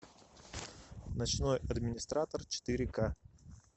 ночной администратор четыре ка